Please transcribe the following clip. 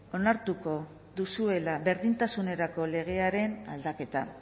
onartuko duzuela berdintasunerako legearen aldaketa